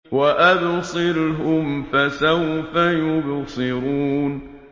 وَأَبْصِرْهُمْ فَسَوْفَ يُبْصِرُونَ